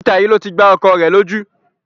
Ìta yìí ló ti gbá ọkọ rẹ lójú